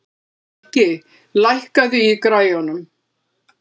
Rikki, lækkaðu í græjunum.